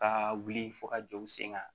Ka wuli fo ka jɔ u sen kan